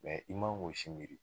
i man k'o si miiri.